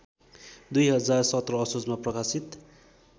२०१७ असोजमा प्रकाशित